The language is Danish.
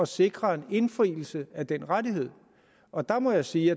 sikre en indfrielse af den rettighed og der må jeg sige